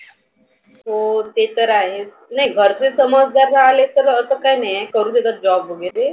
हो ते तर आहे. नही गरजेच समजदार असले तर करु देतात job वगैरे.